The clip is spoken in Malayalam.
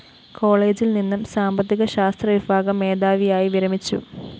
കോളേജില്‍നിന്നും സാമ്പത്തിക ശാസ്ത്രവിഭാഗം മേധാവിയായി വിരമിച്ചു